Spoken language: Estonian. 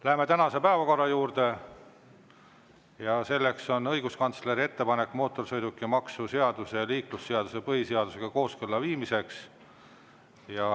Läheme tänase päevakorra juurde, kus on kirjas õiguskantsleri ettepanek mootorsõidukimaksu seaduse ja liiklusseaduse põhiseadusega kooskõlla viimiseks.